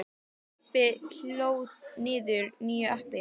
Stebbi hlóð niður nýju appi.